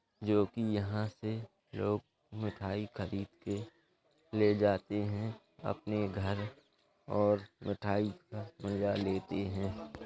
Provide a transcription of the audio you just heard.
जो की यहाँ से लोग मिठाई खरीद के ले जाते हैं अपने घर और मिठाई का मज़ा लेते हैं।